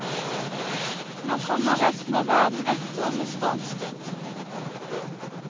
Nå kommer resten av verden etter med stormskritt.